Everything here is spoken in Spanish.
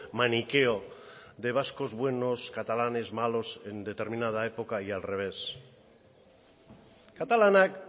maniqueo de vascos buenos catalanes malos en determinada época y al revés katalanak